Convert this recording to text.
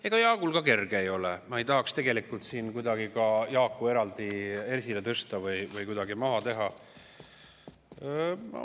Ega Jaagul ka kerge ei ole, ma ei tahaks tegelikult siin Jaaku eraldi esile tõsta või kuidagi maha teha.